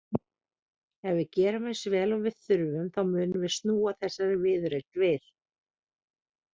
Ef við gerum eins vel og við þurfum þá munum við snúa þessari viðureign við.